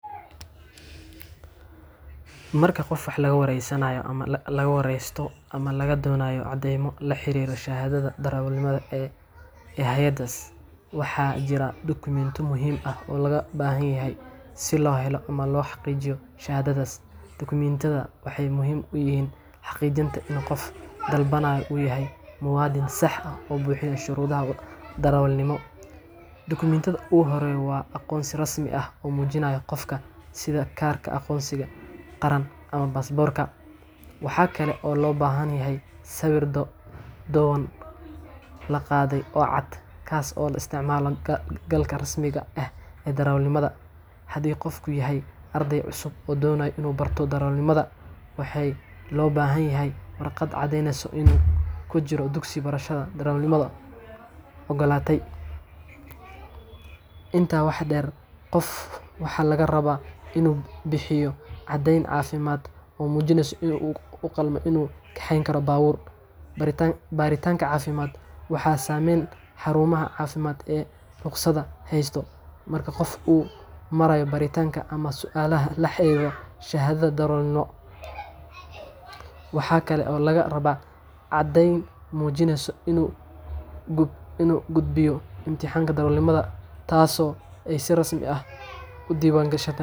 Marka qof laga wareysto ama laga doonayo caddeymo la xiriira shahaadada darawalnimada ee hay’adda NTSA, waxaa jira dukumintiyo muhiim ah oo looga baahan yahay si loo helo ama loo xaqiijiyo shahaadadaas. Dukumintiyadan waxay muhiim u yihiin xaqiijinta in qofka dalbanaya uu yahay muwaadin sax ah oo buuxiyay shuruudaha darawalnimo. Dukumintiga ugu horreeya waa aqoonsi rasmi ah oo muujinaya qofka, sida kaarka aqoonsiga qaran ama baasaboorka. Waxa kale oo la baahan yahay sawir dhowaan la qaaday oo cad, kaas oo loo isticmaalo galka rasmiga ah ee darawalnimada. Haddii qofku yahay arday cusub oo doonaya inuu barto darawalnimada, waxaa loo baahan yahay warqad caddeyneysa inuu ku jiro dugsi barashada darawalnimada oo ay NTSA oggolaatay. Intaa waxaa dheer, qofka waxa laga rabaa inuu bixiyo caddeyn caafimaad oo muujinaysa inuu u qalmo in uu kaxeeyo baabuur. Baaritaanka caafimaadkan waxaa sameeya xarumaha caafimaad ee ruqsadda haysta. Marka qofku uu marayo baaritaanka ama su’aalaha la xiriira shahaadada darawalnimada, waxa kale oo laga rabaa caddeyn muujinaysa inuu gudbay imtixaanka darawalnimada, taasoo NTSA ay si rasmi ah u diiwaangeliso.